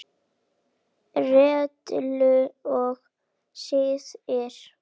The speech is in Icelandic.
Reglur og siði